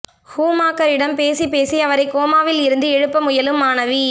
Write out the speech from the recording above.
ஷூமாக்கரிடம் பேசிப் பேசி அவரை கோமாவில் இருந்து எழுப்ப முயலும் மனைவி